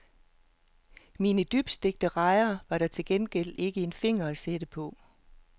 Mine dybstegte rejer var der til gengæld ikke en finger at sætte på.